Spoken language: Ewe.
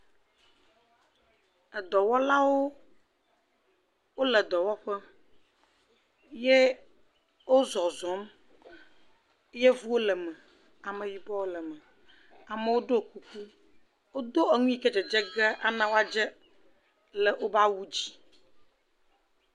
Edɔwɔlawo wole dɔwɔƒe ye ozɔzɔm, yevuwo le me, ameyibɔewo le me, amewo do kuku, wodo enu yike dzedze ge ana woadze le wobe awu dzi.